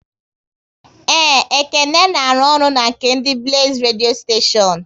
Yes, Ekene works with the Blaze radio station